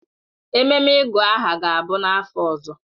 Ememe ịgụ aha ga-abụ n'afọ ọzọ.